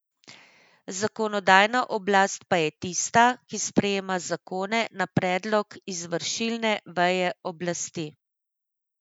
Zakonodajna oblast pa je tista, ki sprejema zakone na predlog izvršilne veje oblasti.